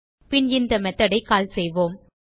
பின் இந்த methodஐ கால் செய்வோம்